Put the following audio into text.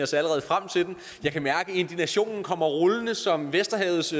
ser allerede frem til den jeg kan mærke indignationen kommer rullende som vesterhavets